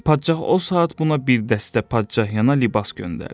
Padşah o saat buna bir dəstə padşah yana libas göndərdi.